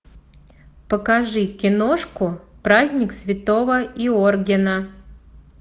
покажи киношку праздник святого йоргена